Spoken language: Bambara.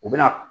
U bɛna